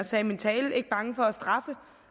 sagde i min tale ikke bange for at straffe